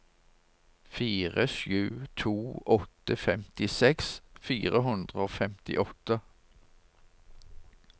fire sju to åtte femtiseks fire hundre og femtiåtte